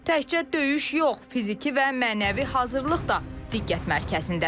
Təkcə döyüş yox, fiziki və mənəvi hazırlıq da diqqət mərkəzindədir.